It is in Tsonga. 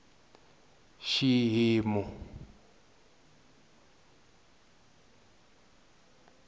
xihimu